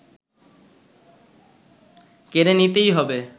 কেড়ে নিতেই হবে